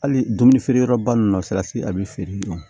Hali dumuni feere yɔrɔba ninnu na salati a bi feere